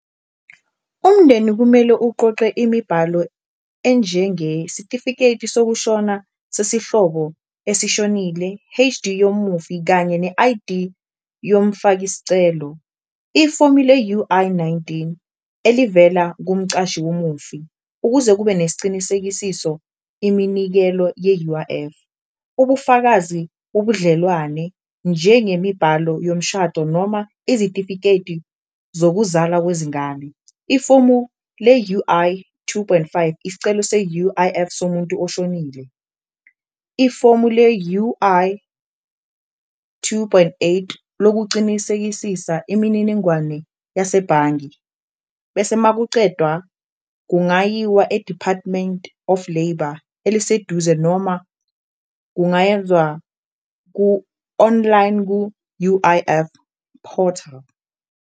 Umndeni kumele uqoqe imibhalo enjenge sitifiketi sokushona sesihlobo esishonile I_D yomufi kanye ne-I_D yomfaki scelo, ifomi le-U_I nineteen elivela kumcashi womufi, ukuze kube nesicinisekisiso iminikelo ye-U_I_F, ubufakazi ubudlelwane njengemibhalo yomshado, noma izitifiketi zokuzala kwezingane. Ifomu le-U_I two point five, isicelo se-U_I_F somuntu oshonile, ifomu le-U_I two point eight lokucinisekisisa imininingwane yasebhange bese makucedwa kungayiwa e-Department of Labour eliseduze noma kungayenzwa ku-online ku-U_I_F portal.